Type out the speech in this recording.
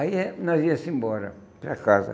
Aí é que nós ia embora para casa.